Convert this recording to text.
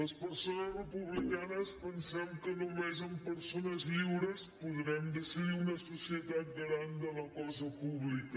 les persones republicanes pensem que només amb persones lliures podrem decidir una societat garant de la cosa pública